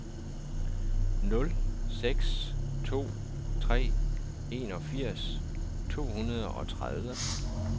nul seks to tre enogfirs to hundrede og tredive